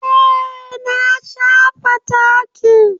Eh na shafa taki.